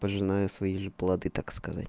пожиная свои же плоды так сказать